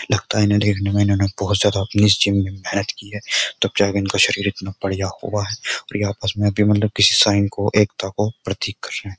लगता है इन्हें देखने में इन्होंने बहुत ज्यादा मेहनत की है। तब जाके इनका शरीर इतना बढिया हुआ है और ये आपस में किसी साइन को एकता को प्रतीक कर रहे हैं।